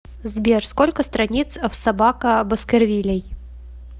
сбер сколько страниц в собака баскервилей